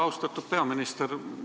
Austatud peaminister!